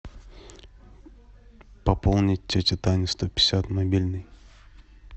пополнить тете тане сто пятьдесят мобильный